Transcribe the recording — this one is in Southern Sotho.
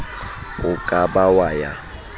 o ka ba wa ya